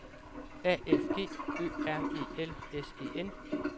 A F G Ø R E L S E N